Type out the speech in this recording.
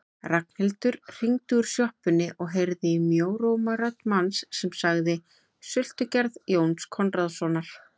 Ragnhildur hringdi úr sjoppunni og heyrði í mjóróma rödd manns sem sagði: Sultugerð Jóns Konráðssonar